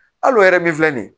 Hali o yɛrɛ min filɛ nin ye